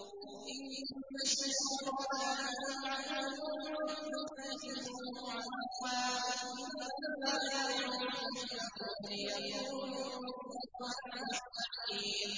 إِنَّ الشَّيْطَانَ لَكُمْ عَدُوٌّ فَاتَّخِذُوهُ عَدُوًّا ۚ إِنَّمَا يَدْعُو حِزْبَهُ لِيَكُونُوا مِنْ أَصْحَابِ السَّعِيرِ